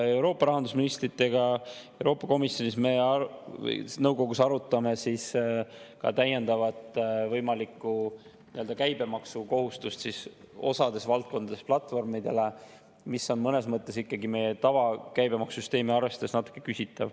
Euroopa rahandusministritega Euroopa Nõukogus arutame ka täiendavat võimalikku käibemaksukohustust platvormidele mõnes valdkonnas, mis on mõnes mõttes meie tavakäibemaksusüsteemi arvestades natuke küsitav.